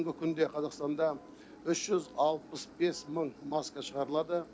бүгінгі күнде қазақстанда үш жүз алпыс бес мың маска шығарылады